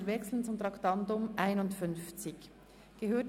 Wir wechseln zum Traktandum 51.